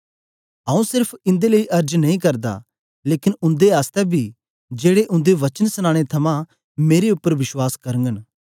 आऊँ सेरफ इन्दे लेई अर्ज नेई करदा लेकन उन्दे आसतै बी जेड़े उन्दे वचन सनानें थमां मेरे उपर बश्वास करगन